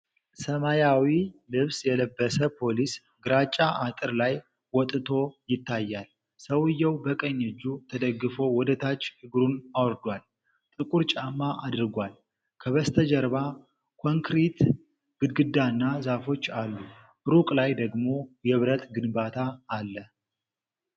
ሰማያዊ ልብስ የለበሰ ፖሊስ ግራጫ አጥር ላይ ወጥቶ ይታያል። ሰውዬው በቀኝ እጁ ተደግፎ ወደ ታች እግሩን አውርዷል፤ ጥቁር ጫማ አድርጓል። ከበስተጀርባ ኮንክሪት ግድግዳና ዛፎች አሉ። ሩቅ ላይ ደግሞ የብረት ግንባታ አለ።